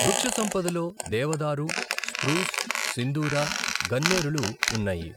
వృక్షసంపదలో దేవదారు, స్ప్రూస్, సిందూర, గన్నేరులు ఉన్నాయి.